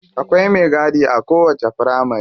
Akwai me gadi a kowacce firamari.